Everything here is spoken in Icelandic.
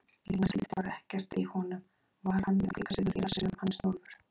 Lína skildi bara ekkert í honum, var hann með kvikasilfur í rassinum hann Snjólfur?